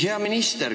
Hea minister!